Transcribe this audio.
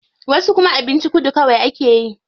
Wasu kuma abincin kudu kawai akeyi.